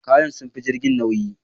Kayan sun fi jirgin nauyi